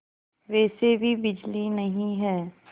वैसे भी बिजली नहीं है